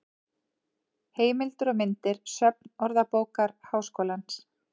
Heimildir og myndir: Söfn Orðabókar Háskólans.